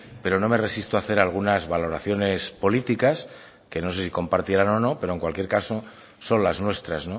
pero no me resisto a hacer algunas valoraciones políticas que no sé si compartirán o no pero en cualquier caso son las nuestras